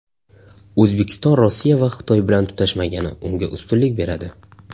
O‘zbekiston Rossiya va Xitoy bilan tutashmagani unga ustunlik beradi.